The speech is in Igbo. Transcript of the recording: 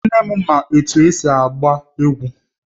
Nne m ma etu esi agba egwu